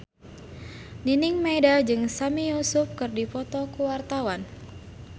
Nining Meida jeung Sami Yusuf keur dipoto ku wartawan